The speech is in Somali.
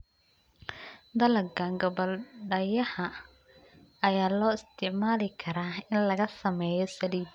Dalagga gabbaldayaha ayaa loo isticmaali karaa in laga sameeyo saliid.